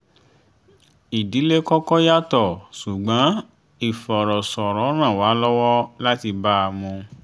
ìdílé kọ́kọ́ yàtọ̀ ṣùgbọ́n ìfọ̀rọ̀sọrọ̀ ràn wá lọwọ lati ba a mu